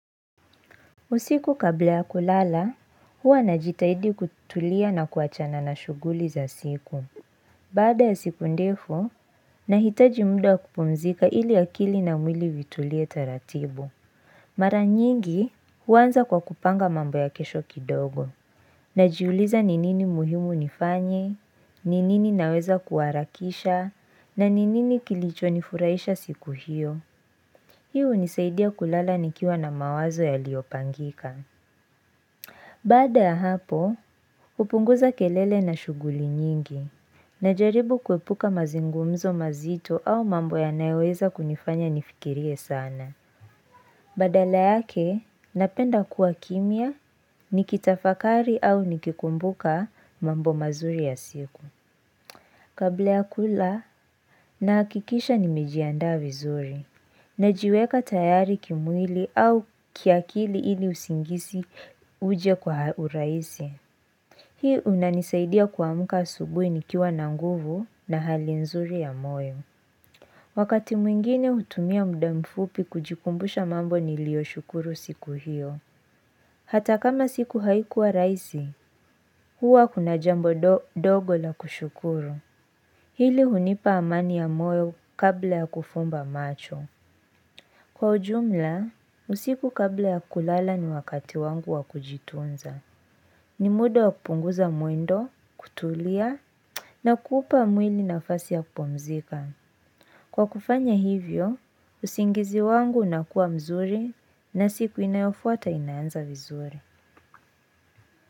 Usiku kabla ya kulala, huwa najitahidi kutulia na kuachana na shughuli za siku. Baada ya siku ndefu, nahitaji muda wa kupumzika ili akili na mwili vitulie taratibu. Mara nyingi, huanza kwa kupanga mambo ya kesho kidogo. Najiuliza ni nini muhimu nifanye, ni nini naweza kuharakisha, na ni nini kilichonifurahisha siku hiyo. Hii hunisaidia kulala nikiwa na mawazo yaliyopangika. Baada ya hapo, hupunguza kelele na shughuli nyingi, najaribu kuepuka mazungumzo mazito au mambo yanayoweza kunifanya nifikirie sana. Badala yake, napenda kuwa kimya, nikitafakari au nikikumbuka mambo mazuri ya siku. Kabla ya kula, nahakikisha nimejiandaa vizuri, najiweka tayari kimwili au kiakili ili usingisi uje kwa urahisi. Hii unanisaidia kuamka asubuhi nikiwa na nguvu na hali nzuri ya moyo. Wakati mwingine hutumia muda mfupi kujikumbusha mambo nilioshukuru siku hiyo. Hata kama siku haikuwa rahisi, huwa kuna jambo dogo la kushukuru. Hili hunipa amani ya moyo kabla ya kufumba macho. Kwa ujumla, usiku kabla ya kulala ni wakati wangu wa kujitunza. Ni muda wa kupunguza mwendo, kutulia na kuupa mwili nafasi ya kupumzika. Kwa kufanya hivyo, usingizi wangu unakuwa mzuri na siku inayofuata inaanza vizuri.